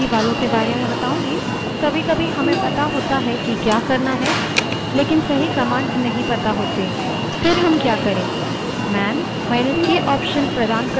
यहाँ मैं आपको ज्यादा उपयोगी वालों के बारे में बताऊँगी कभीकभी हमें पता होता है जो हम करना चाहते हैं लेकिन सही command नहीं पता होती तब हम क्या करे